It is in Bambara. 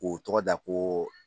K'o tɔgɔ da ko